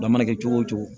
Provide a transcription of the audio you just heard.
A mana kɛ cogo o cogo